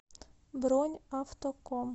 бронь автоком